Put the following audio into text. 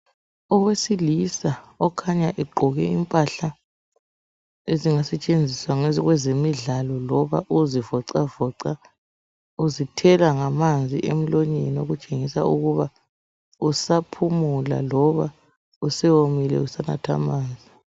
Owesilisa okhanya egqoke impahla ezingasetsenziswa kwezemidla loba ukuzivocavoca uzithela ngamanzi emlonyeni okutsengisa ukuba usaphumula loba usewomile usanatha amanzi.